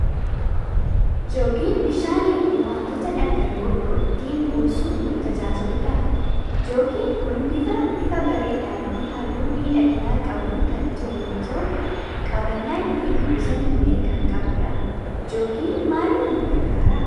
Jookii bishaanii fi wantoota dhangal'oo biroo ittiin buusuuf nu tajaajiludha. Jookin kun bifa bifa bareedaa fi halluu miidhagina qabuun kan tole yoo ta'u, qabannaa ittiin buusan illee kan qanudha. Jookiin maaliif nu gargaaraa?